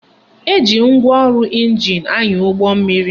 Eji ngwaọrụ ịnjin anya ụgbọmmiri